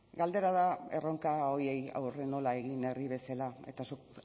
galdera da erronka horiei aurre nola egin herri bezala eta zuk